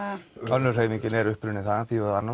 önnur hreyfingin er upprunin þaðan